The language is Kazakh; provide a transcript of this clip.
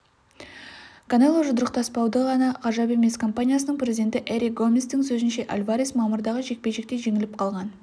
канело жұдырықтаспауы да ғажап емес компаниясының президенті эрик гоместің сөзінше альварес мамырдағы жекпе-жекте жеңіліп қалған